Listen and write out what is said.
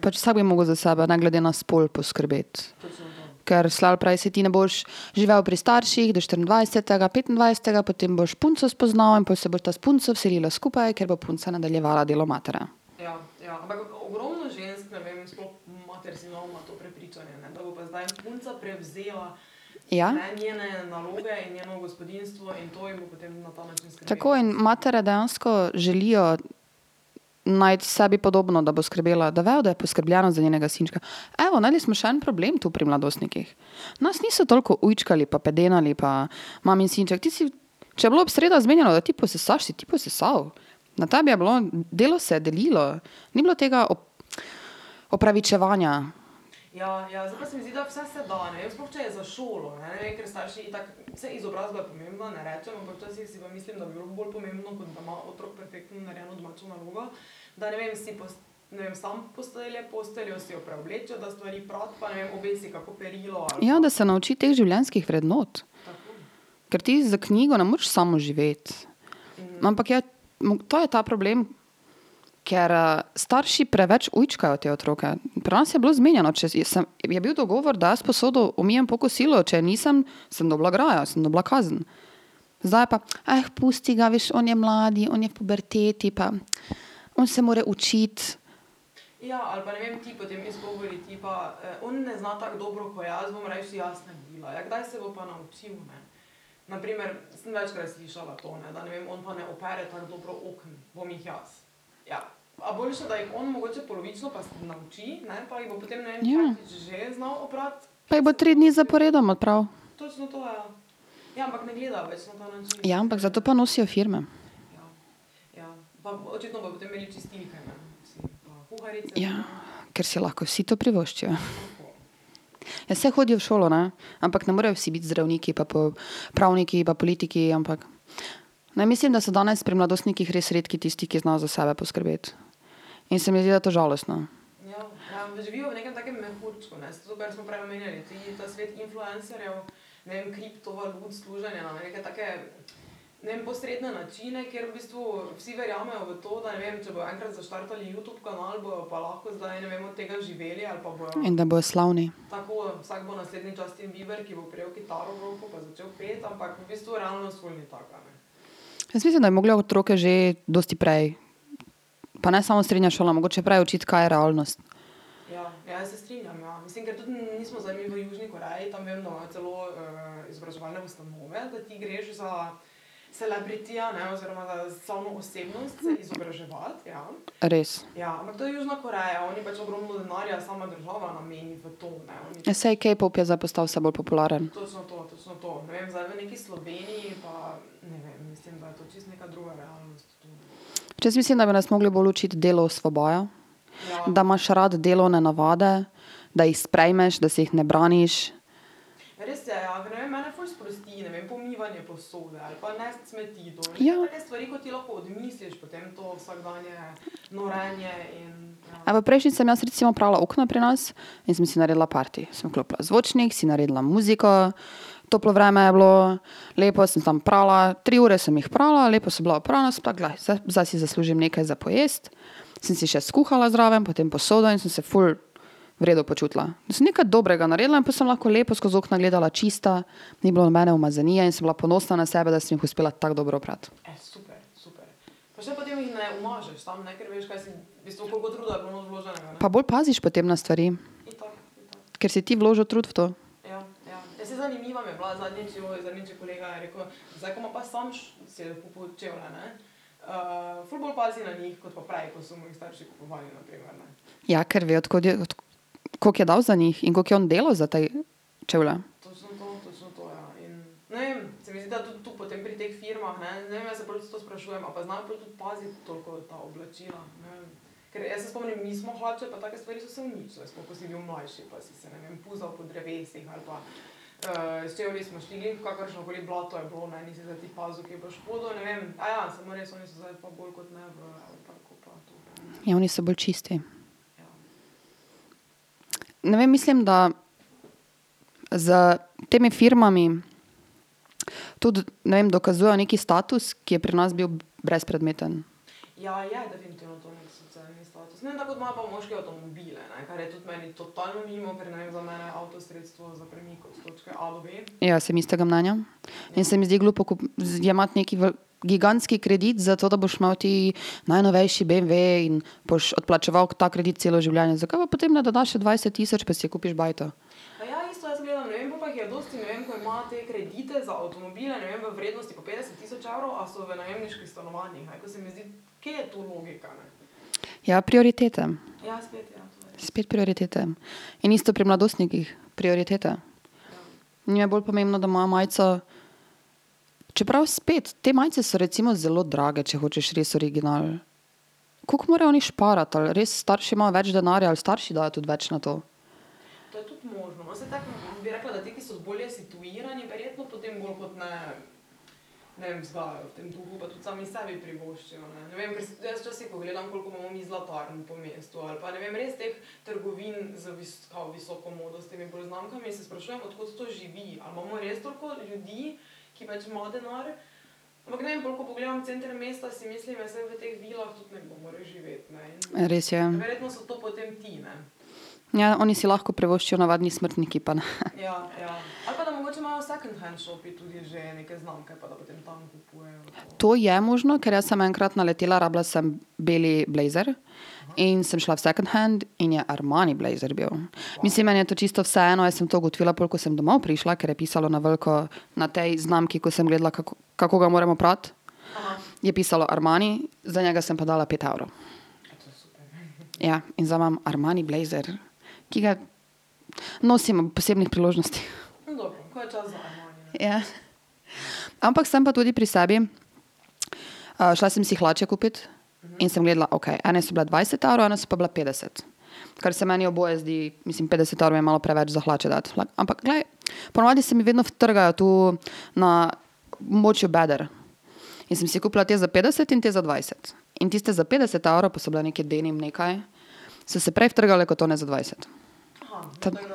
Pač vsak bi mogel za sebe, ne glede na spol, poskrbeti. Ker slej ali prej, saj ti ne boš živel pri starših do štiriindvajsetega, petindvajsetega, potem boš punco spoznal in pol se bosta s punco vselila skupaj, kjer bo punca nadaljevala delo matere. Ja. Tako, in matere dejansko želijo najti sebi podobno, da bo skrbela, da vejo, da je poskrbljeno za njenega sinčka, evo, našli smo še en problem tu pri mladostnikih. Nas niso toliko ujčkali pa pedenali pa , mamin sinček, ti si ... Če je bilo v sredo zmenjeno, da ti posesaš, si ti posesal. Na tebi je bilo, delo se je delilo. Ni bilo tega opravičevanja. Ja, da se nauči teh življenjskih vrednot. Ker ti za knjigo ne moreš samo živeti. Ampak je, to je ta problem, ker starši preveč ujčkajo te otroke, pri nas je bilo zmenjeno, če si, jaz sem, je bil dogovor, da jaz posodo pomijem po kosilu, če je nisem, sem dobila grajo, sem dobila kazen. Zdaj pa, pusti ga, veš, on je mlad, on je v puberteti pa on se mora učiti. Ja. Pa jih bo tri dni zaporedoma pral. Ja, ampak zato pa nosijo firme. Ja, ker si lahko vsi to privoščijo. Ja, saj hodijo v šolo, ne, ampak ne morejo vsi biti zdravniki pa pravniki pa politiki, ampak ... Ne, mislim, da so danes pri mladostnikih res redki tisti, ki znajo za sebe poskrbeti. In se mi zdi, da je to žalostno. Vem, da bojo slavni. Jaz mislim, da bi mogle otroke že dosti prej, pa ne samo srednja šola, mogoče prej učiti, kaj je realnost. Res. Ja, saj, K-pop je zdaj postal vse bolj popularen. Pač, jaz mislim, da bi nas mogli bolj naučiti, delo osvobaja. Da imaš rad delovne navade, da jih sprejmeš, da se jih ne braniš. Ja. Ampak prejšnjič sem jaz recimo prala okna pri nas in sem si naredila party, sem vklopila zvočnik, si naredila muziko, toplo vreme je bilo, lepo sem tam prala, tri ure sem jih prala, lepo so bila oprana, zdaj si zaslužim nekaj za pojesti, sem si še skuhala zraven, potem posoda in sem se ful v redu počutila, da sem nekaj dobrega naredila in pol sem lahko lepo skozi okna gledala, čista, ni bilo nobene umazanije in sem bila ponosna na sebe, da sem jih uspela tako dobro oprati. Pa bolj paziš potem na stvari. Ker si ti vložil trud v to. Ja, ker ve, od kod je, od koliko je dal za njih in koliko je on delal za te čevlje. Ja, oni so bolj čisti. Ne vem, mislim, da s temi firmami tudi, ne vem, dokazujejo neki status, ki je pri nas bil brezpredmeten. Jaz sem istega mnenja. In se mi zdi glupo, ko jemati neki gigantski kredit, zato da boš imel ti najnovejši beemve in boš odplačeval ta kredit celo življenje, zakaj pa potem ne dodaš še dvajset tisoč pa si kupiš bajto? Ja, prioriteta. Spet prioritete. In isto pri mladostnikih, prioritete. Njim je bolj pomembno, da imajo majico ... Čeprav spet, te majice so recimo zelo drage, če hočeš res original. Koliko morajo oni šparati ali res starši imajo več denarja ali starši dajo tudi več na to? Res je, ja. Ja, oni si lahko privoščijo, navadni smrtniki pa ne, To je možno, ker jaz sem enkrat naletela, rabila sem bel blejzer, in sem šla v second hand in je Armani blejzer bil. Mislim, meni je to čisto vseeno, jaz sem to ugotovila, pol ko sem domov prišla, ker je pisalo na veliko na tej znamki, ko sem gledala, kako, kako ga moram oprati, je pisalo Armani, za njega sem pa dala pet evrov. Ja, in zdaj imam Armani blejzer, ki ga nosim ob posebnih priložnostih. Ja. Ampak sem pa tudi pri sebi, šla sem si hlače kupit, in sem gledala, okej, ene so bile dvajset evrov, ene so pa bile petdeset. Kar se meni oboje zdi, mislim, petdeset evrov je malo preveč za hlače dati ampak glej, ponavadi se mi vedno utrgajo tu na območju beder. In sem si kupila te za petdeset in te za dvajset. In tiste za petdeset evrov, pa so bile neke denim, nekaj, so se prej utrgale kot one za dvajset.